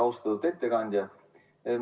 Austatud ettekandja!